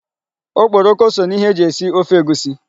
Okporoko so n'ihe e ji esi ofe egusi.